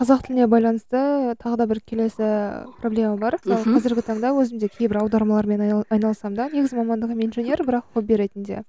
қазақ тіліне байланысты тағы да бір келесі проблема бар мхм мысалы қазіргі таңда өзім де кейбір аудармалармен айнал айналысамын да негізгі мамандығым инженер бірақ ретінде